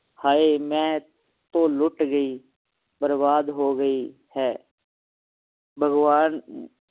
ਹਾਏ ਮੈਂ ਤੋਂ ਲੁੱਟ ਗਈ ਬਰਬਾਦ ਹੋ ਗਈ ਹੈ ਭਗਵਾਨ